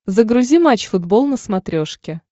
загрузи матч футбол на смотрешке